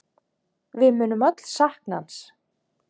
Við munum öll sakna hans.